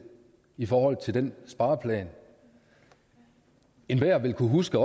i forhold til den spareplan enhver vil kunne huske